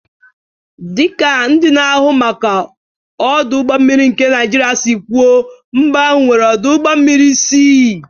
Dị ka ndị na-ahụ maka ọdụ ụgbọ mmiri nke Naijiria si kwuo, mba ahụ nwere ọdụ ụgbọ mmiri isii.